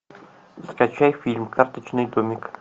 скачай фильм карточный домик